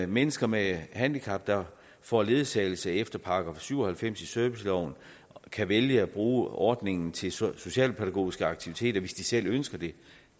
mennesker med handicap der får ledsagelse efter § syv og halvfems i serviceloven kan vælge at bruge ordningen til socialpædagogiske aktiviteter hvis de selv ønsker det